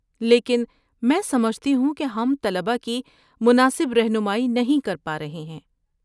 لیکن، میں سمجھتی ہوں کہ ہم طلبہ کی مناسب رہنمائی نہیں کر پا رہے ہیں۔